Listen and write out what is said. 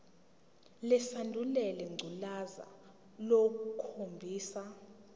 lesandulela ngculazi lukhombisa